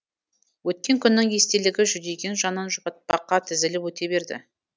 өткен күннің естелігі жүдеген жанын жұбатпаққа тізіліп өте берді